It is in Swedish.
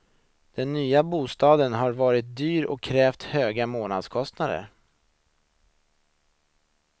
Den nya bostaden har varit dyr och krävt hög månadskostnad.